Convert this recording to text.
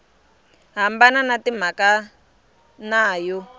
hambana ya timhaka na yo